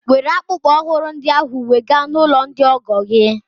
Were akpụkpọ ụkwụ ọhụrụ ndị ahụ wega n'ụlọ ndị ọgọ gị!